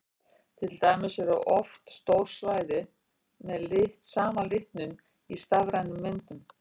Til dæmis eru oft stór svæði með sama litnum í stafrænum myndum.